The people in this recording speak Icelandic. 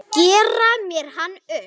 Gera mér hann upp?